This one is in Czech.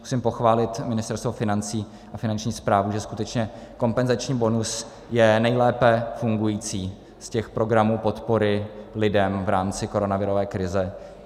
Musím pochválit Ministerstvo financí a Finanční správu, že skutečně kompenzační bonus je nejlépe fungující z těch programů podpory lidem v rámci koronavirové krize.